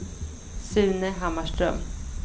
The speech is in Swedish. Sune Hammarström